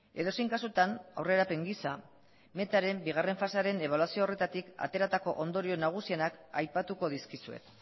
edozein kasutan aurrerapen gisa metaren bigarren fasearen ebaluazio horretatik ateratako ondorio nagusienak aipatuko dizkizuet